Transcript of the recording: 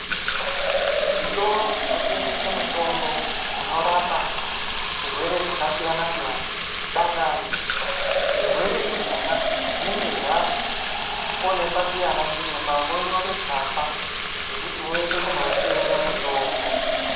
Zvitoro zvinotengese mitombo unorapa zvirwere zvakasiyana siyana dangani. Zvirwere izvona, zvinenge zvawonekwa ndi anachiremba vonyore tsamba yekuti uyende kunotenga mutombo.